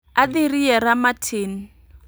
Adhi riera matin